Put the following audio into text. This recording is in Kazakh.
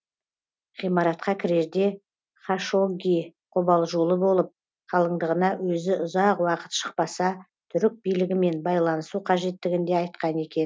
ғимаратқа кірерде хашогги қобалжулы болып қалыңдығына өзі ұзақ уақыт шықпаса түрік билігімен байланысу қажеттігін де айтқан екен